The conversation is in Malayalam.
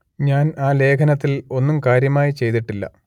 ഞാൻ ആ ലേഖനത്തിൽ ഒന്നും കാര്യമായി ചെയ്തിട്ടില്ല